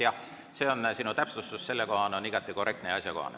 Jah, see sinu sellekohane täpsustus on igati korrektne ja asjakohane.